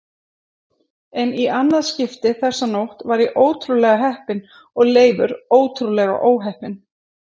En í annað skipti þessa nótt var ég ótrúlega heppinn og Leifur ótrúlega óheppinn.